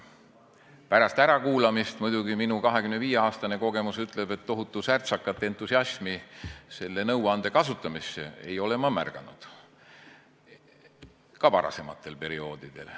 Pärast ärakuulamist muidugi tohutu särtsakat entusiasmi selle nõuande kasutamisel ei ole ma märganud, ka varasematel perioodidel.